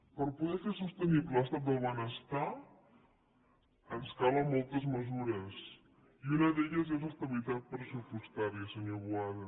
per poder fer sostenible l’estat del benestar ens calen moltes mesures i una d’elles és la d’estabilitat pressupostària senyor boada